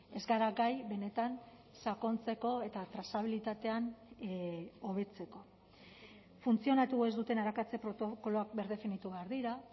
ez gara gai benetan sakontzeko eta trazabilitatean hobetzeko funtzionatu ez duten arakatze protokoloak birdefinitu behar dira